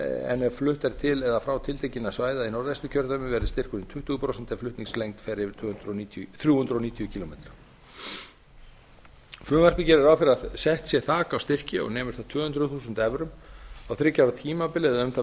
en ef flutt er til eða frá tilteknum svæðum í norðvesturkjördæmi verður styrkurinn tuttugu prósent ef flutningslengd fer yfir þrjú hundruð níutíu kílómetra frumvarpið gerir ráð fyrir að sett sé þak á styrki og nemur þá tvö hundruð þúsund evrum á þriggja ára tímabil eða um það